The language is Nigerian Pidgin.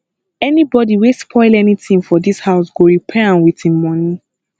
anybody wey spoil anything for dis house go repair am with im money